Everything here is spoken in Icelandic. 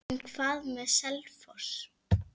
En hvað með Selfoss?